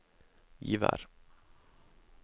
Givær